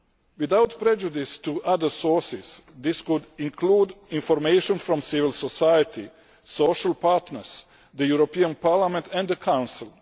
Without prejudice to other sources, this could include information from civil society, social partners, the European Parliament and the Council.